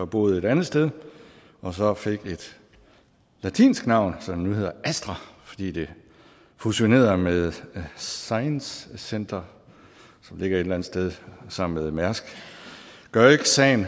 boet et andet sted og så fik et latinsk navn så er det nu hedder astra fordi det fusionerede med science center som ligger et eller andet sted sammen med mærsk gør ikke sagen